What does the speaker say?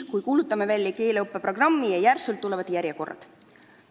Kui kuulutatakse välja keeleõppe programm, tekivad otsemaid järjekorrad.